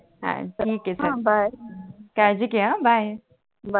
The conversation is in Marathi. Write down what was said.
अच्छा ठीक आहे चल बाय काळजी घे आ बाय